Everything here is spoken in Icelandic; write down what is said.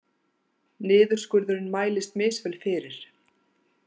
Niðurskurðurinn mælist misvel fyrir